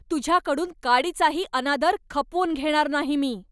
तुझ्याकडून काडीचाही अनादर खपवून घेणार नाही मी.